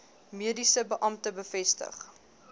mediese beampte bevestig